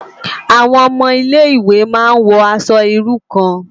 Awòn òmò Ilé Iwé má n wò aṣò irú kàn